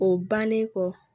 O bannen kɔ